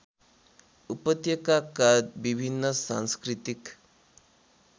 उपत्यकाका विभिन्न सांस्कृतिक